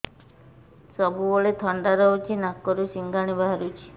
ସବୁବେଳେ ଥଣ୍ଡା ରହୁଛି ନାକରୁ ସିଙ୍ଗାଣି ବାହାରୁଚି